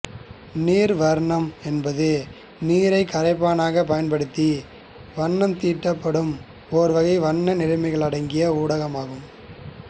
நீர் வர்ணம் என்பது நீரைக் கரைப்பானாகக் பயன்படுத்தி வண்ணம் தீட்டப்படும் ஒருவகை வண்ண நிறமிகளடங்கிய ஊடகமாகும்